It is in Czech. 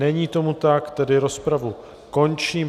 Není tomu tak, tedy rozpravu končím.